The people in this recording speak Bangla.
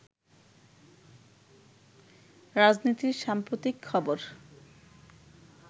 রাজনীতির সাম্প্রতিক খবর